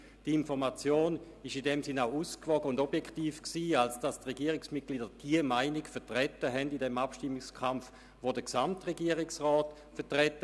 Die Information war in diesem Sinn auch ausgewogen und objektiv, als die Regierungsmitglieder im Abstimmungskampf die Meinung des Gesamtregierungsrats vertraten.